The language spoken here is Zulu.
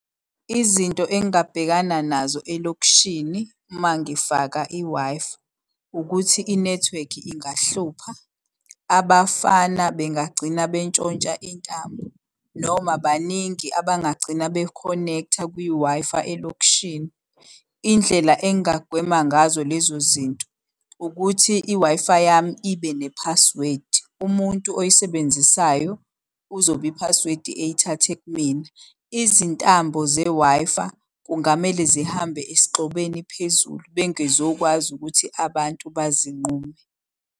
Izinto engingabhekana nazo elokishini uma ngifaka i-Wi-Fi ukuthi inethiwekhi ingahlupha, abafana bengagcina bentshontsha intambo, noma baningi abangagcina be connecta kwi-Wi-Fi elokishini. Indlela engingagwema ngazo lezo zinto ukuthi i-Wi-Fi yami ibe ne-password. Umuntu oyisebenzisayo uzobe i-password eyithathe kumina. Izintambo ze-Wi-Fi kungamele zihambe esigxobeni phezulu bengizokwazi ukuthi abantu bazinqume.